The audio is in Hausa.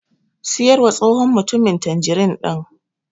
Siyarwa tsohon mutumin tanjirin ɗin.